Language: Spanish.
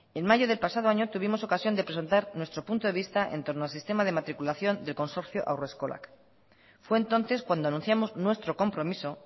en mayo del pasado año tuvimos ocasión de presentar nuestro punto de vista en torno al sistema de matriculación del consorcio haurreskolak fue entonces cuando anunciamos nuestro compromiso